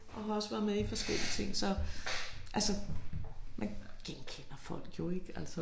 Og har også været med i forskellige ting så altså man vi kender folk jo ikke altså